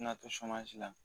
N'a to la